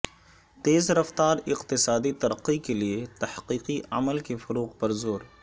تیز رفتار اقتصادی ترقی کے لیے تحقیقی عمل کے فروغ پر زور